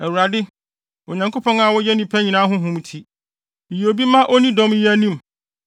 “ Awurade, Onyankopɔn a woyɛ nnipa nyinaa honhom ti, yi obi ma onni dɔm yi anim